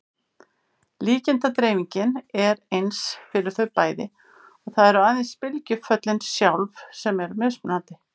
Líkindadreifingin er eins fyrir þau bæði og það eru aðeins bylgjuföllin sjálf sem eru mismunandi.